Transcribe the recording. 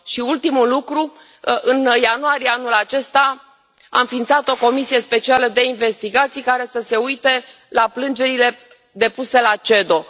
Și ultimul lucru în ianuarie anul acesta, a înființat o comisie specială de investigații care să se uite la plângerile depuse la CEDO.